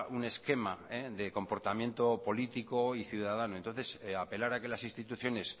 un esquema de comportamiento político y ciudadano entonces apelar a que las instituciones